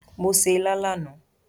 Mo se ilá lánàá